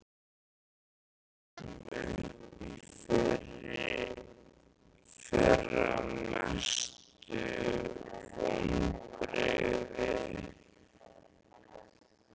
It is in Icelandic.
Þegar við fórum upp í fyrra Mestu vonbrigði?